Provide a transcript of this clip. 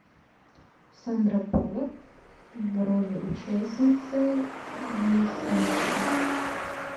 сандра буллок в роли участницы мисс америка